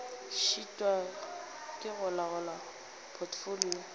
šitwa ke go laola potfolio